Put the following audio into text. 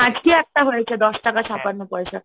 একটা হয়েছে দশ টাকা ছাপ্পান্ন পয়সা।